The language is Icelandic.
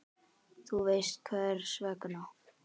Þú veist hvers vegna.